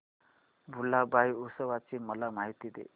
भुलाबाई उत्सवाची मला माहिती दे